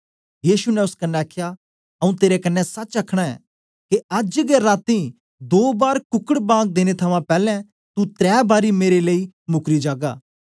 यीशु ने ओस कन्ने आखया आऊँ तेरे कन्ने सच आखना के अज्ज गै रातीं दो बार कुकड बांग देने थमां पैलैं तू त्रै बारी मेरे लेई मुकरी जागा